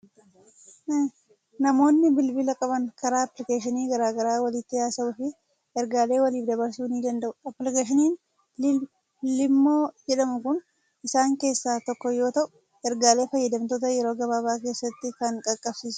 Namoonni bilbila qaban karaa appilikeeshinii garaa garaa walitti haasa'uu fi ergaalee waliif dabarsuu ni danda'u. Appilikeeshiniin Iimoo jedhamu kun isaan keessaa tokko yoo ta'u, ergaalee fayyadamtootaa yeroo gabaabaa keessatti kan qaqqabsiisudha.